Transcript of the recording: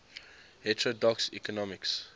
heterodox economics